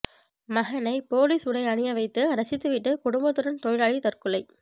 மகனை போலீஸ் உடை அணிய வைத்து ரசித்துவிட்டு குடும்பத்துடன் தொழிலாளி தற்கொலை